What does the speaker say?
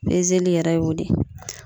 yɛrɛ y'o de ye.